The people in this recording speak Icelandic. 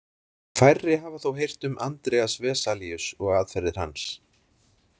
Færri hafa þó heyrt um Andreas Vesalius og aðferðir hans.